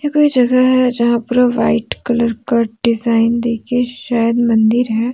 कोई जगह है। जहाँ पूरा व्हाइट कलर का डिजाइन दे के शायद मंदिर है।